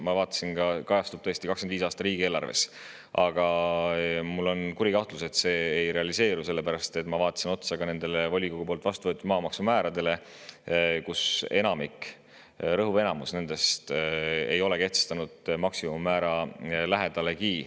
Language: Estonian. Tõesti, ma vaatasin ka, et see kajastub 2025. aasta riigieelarve, aga mul on kuri kahtlus, et see ei realiseeru, sellepärast et kui ma vaatasin otsa nendele volikogude vastu võetud maamaksumääradele rõhuv enamik nendest ei ole kehtestanud neid maksimummäära lähedalegi.